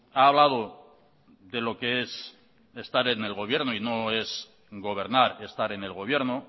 ha hablado de lo que es estar en el gobierno y no es gobernar estar en el gobierno